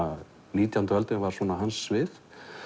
nítjánda öldin var hans svið